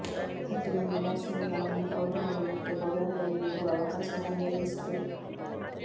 ಹತ್ತು ಮಂದಿ ಬ್ಯಾಟ್ಸ್ಮನ್ಗಳನ್ನು ಔಟ್ ಮಾಡುವುದಕ್ಕೆ ಬೌಲರ್ಗಳಿಗೆ ಇರುವ ಅವಕಾಶಗಳ ಸಂಖ್ಯೆ ಎಷ್ಟು